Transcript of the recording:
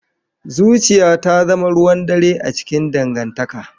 Zuciya ta zama ruwan dare a cikin dangantaka